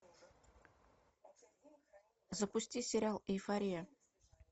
запусти сериал эйфория